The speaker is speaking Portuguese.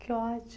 Que ótimo.